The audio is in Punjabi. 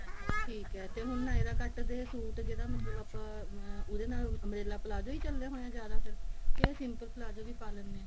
ਠੀਕ ਹੈ ਤੇ ਹੁਣ nyra cut ਦੇ suit ਜਿਹੜਾ ਮਤਲਬ ਆਪਾਂ ਉਹਦੇ ਨਾਲ umbrella palazzo ਹੀ ਚਲੇ ਹੋਏ ਨੇ ਜਿਆਦਾ ਫੇਰ ਕੇ simple palazzo ਵੀ ਪਾ ਲਿੰਦੇ ਹਾਂ